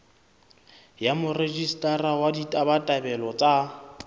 ya morejistara wa ditabatabelo tsa